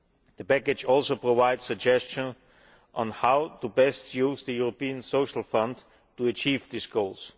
The Package also provides suggestions on how to best use the European Social Fund to achieve these goals.